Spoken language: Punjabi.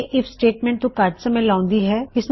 ਇਹ ਆਈਐਫ ਸਟੇਟਮੈਂਟ ਤੋ ਘੱਟ ਸਮੇਂ ਲੈਉਂਦੀ ਹੈ